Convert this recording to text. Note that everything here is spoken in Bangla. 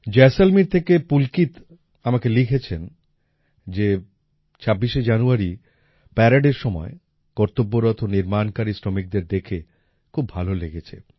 জয়সলমীর থেকে পুল্কিত আমাকে লিখেছেন যে ২৬শে জানুয়ারি প্যারেডের সময় কর্তব্যপথ নির্মাণকারী শ্রমিকদের দেখে খুব ভালো লেগেছে